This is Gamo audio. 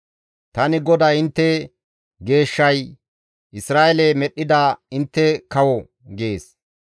Tani GODAY intte Geeshshay, Isra7eele medhdhida intte kawo» gees.